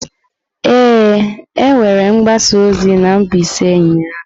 Ee, e nwere mgbasa ozi na Mbaise ụnyahụ.